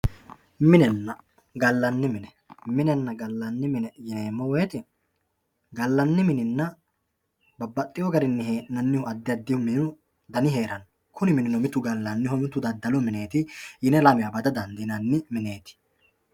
Minenna gallanni mine yineemmo woyiite gallanni mininna babbaxxinno addi addihu minu dani heeranno kuni minino mitu gallaanniho mitu daddalu mineeti yine lamewa bada dandiinanni mineeti